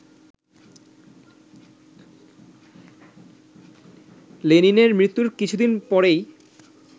লেনিনের মৃত্যুর কিছুদিন পরেই